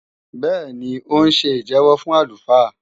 Bẹ́ẹ̀ni, ó ń ṣe ìjẹ́wọ́ fún àlùfáà